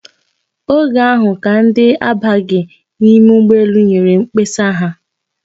Oge ahụ ka ndị na-abaghị n'ime ụgbọelu nyere mkpesa ha.